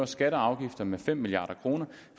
skatter og afgifter med fem milliard kr